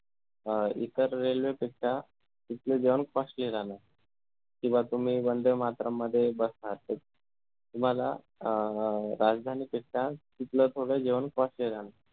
अं इतर railway पेक्षा तिथलं जेवण costly राहणार किंवा तुम्ही वंदे मातरम मध्ये बसता त तुम्हाला अं राजधानीपेक्षा तिथलं थोडं जेवण costly राहणार